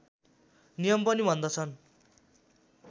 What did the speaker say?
नियम पनि भन्दछन्